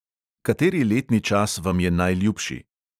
Kateri letni čas vam je najljubši?